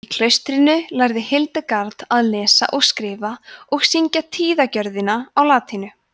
í klaustrinu lærði hildegard að lesa og skrifa og syngja tíðagjörðina á latínu